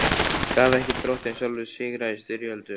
Gaf ekki Drottinn sjálfur sigra í styrjöldum?